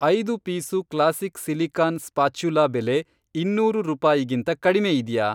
ಐದು piece classic silicon spatula ಬೆಲೆ ಇನ್ನೂರು ರೂಪಾಯಿಗಿಂತ ಕಡ್ಮೆ ಇದ್ಯಾ?